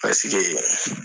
Pasike